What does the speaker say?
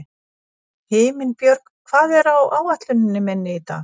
Himinbjörg, hvað er á áætluninni minni í dag?